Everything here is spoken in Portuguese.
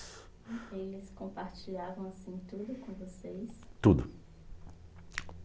Eles compartilhavam assim tudo com vocês? Tudo